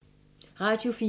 Radio 4